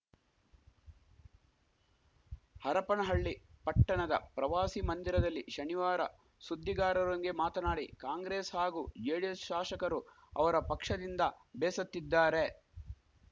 ಹರಪನಹಳ್ಳಿ ಪಟ್ಟಣದ ಪ್ರವಾಸಿ ಮಂದಿರದಲ್ಲಿ ಶನಿವಾರ ಸುದ್ದಿಗಾರರೊಂದಿಗೆ ಮಾತನಾಡಿ ಕಾಂಗ್ರೆಸ್‌ ಹಾಗೂ ಜೆಡಿಎಸ್‌ ಶಾಶಕರು ಅವರ ಪಕ್ಷದಿಂದ ಬೇಸತ್ತಿದ್ದಾರೆ